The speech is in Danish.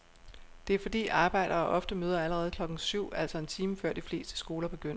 Det er fordi arbejdere ofte møder allerede klokken syv, altså en time før de fleste skoler begynder.